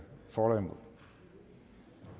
for